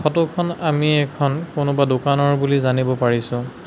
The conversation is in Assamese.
ফটো খন আমি এখন কোনোবা দোকানৰ বুলি জানিব পাৰিছোঁ।